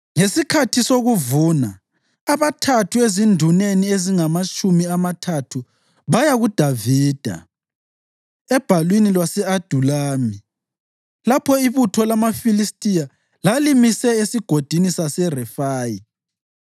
Ngesikhathi sokuvuna, abathathu ezinduneni ezingamatshumi amathathu baya kuDavida ebhalwini lwase-Adulami, lapho ibutho lamaFilistiya lalimise eSigodini saseRefayi.